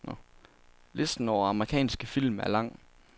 Listen over amerikanske film er lang.